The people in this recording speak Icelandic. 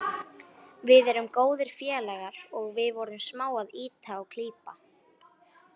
Við erum góðir félagar og við vorum smá að ýta og klípa.